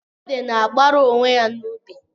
Ede na-agbara onwe ya n'ubi.